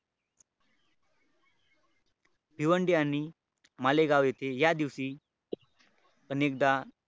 भिवंडी आणि मालेगाव येथे या दिवशी अनेकदा,